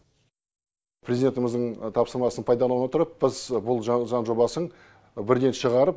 президентіміздің тапсырмасын пайдалана отырып біз бұл заң жобасын бірден шығарып